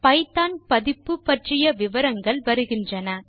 Python பதிப்பு பற்றிய விவரங்கள் வருகிறன